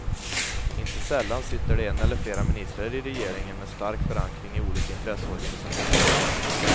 Inte sällan sitter det en eller flera ministrar i regeringen med stark förankring i olika intresseorganisationer.